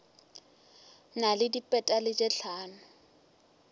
na le dipetale tše hlano